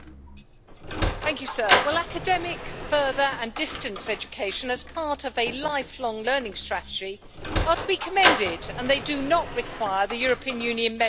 Mr President, academic further and distance education as part of a life long learning strategy are to be commended, and they do not require the European Union membership to enact.